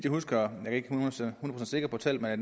husker jeg er ikke hundrede procent sikker på tallet er